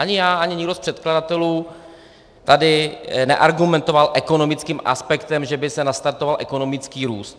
Ani já, ani nikdo z předkladatelů tady neargumentoval ekonomickým aspektem, že by se nastartoval ekonomický růst.